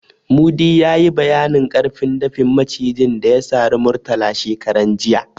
Mudi ya yi bayanin ƙarfin dafin Macijin da ya sari Murtala shekaran jiya.